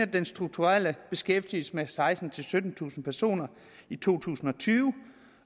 den strukturelle beskæftigelse med sekstentusind syttentusind personer i to tusind og tyve